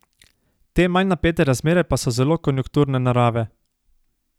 Te manj napete razmere pa so zelo konjunkturne narave.